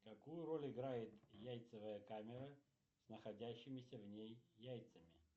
какую роль играет яйцевая камера с находящимися в ней яйцами